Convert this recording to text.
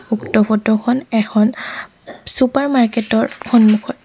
উক্ত ফটো খন এখন চুপাৰ মাৰ্কেট ৰ সন্মুখত।